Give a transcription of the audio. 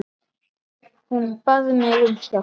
Hún bað mig um hjálp.